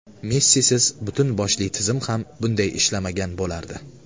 Messisiz butun boshli tizim ham bunday ishlamagan bo‘lardi.